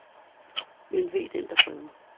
Men ve den, der prøver.